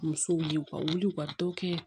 Musow ye u ka wuli u ka dɔ kɛ